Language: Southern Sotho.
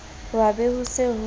hwa be ho se ho